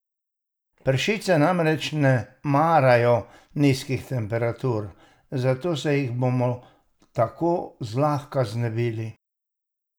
Pršice namreč ne marajo nizkih temperatur, zato se jih bomo tako zlahka znebili.